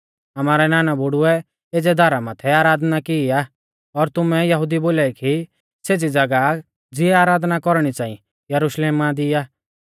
आमारै नाना बुढ़ुऐ एज़ै धारा माथै आराधना की आ और तुमै यहुदी बोलाई की सेज़ी ज़ागाह ज़िऐ आराधना कौरणी च़ांई यरुशलेमा दी आ